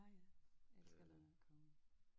Ja jeg elsker Leonard Cohen